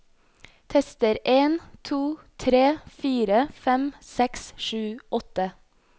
Tester en to tre fire fem seks sju åtte